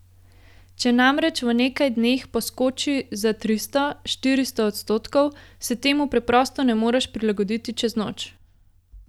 Če namreč v nekaj dneh poskoči za tristo, štiristo odstotkov, se temu preprosto ne moreš prilagoditi čez noč.